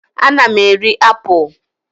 Ana m eri apụl.